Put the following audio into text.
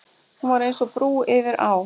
Hún var eins og brú yfir á.